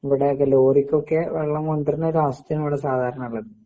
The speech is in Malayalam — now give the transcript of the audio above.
ഇവിടെയൊക്കെ ലോറിക്കൊക്കെ വെള്ളം കൊണ്ടൊരുന്നൊരവസ്ഥയാണ് ഇവടെ സാധാരണ ഇള്ളത്.